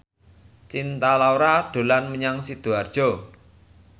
Cinta Laura dolan menyang Sidoarjo